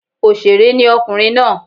Òsèré ni ọkùnrin náà